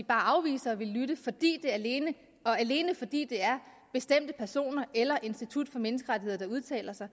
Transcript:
bare afviser at ville lytte alene alene fordi det er bestemte personer eller institut for menneskerettigheder der udtaler sig